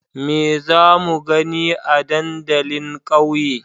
Me za mu gani a dandalin ƙauye?